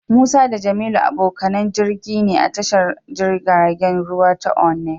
Musa da Jamilu abokanan jirgi ne a tashar jirgin ruwa ta Onne.